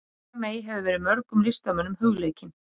María mey hefur verið mörgum listamönnum hugleikin.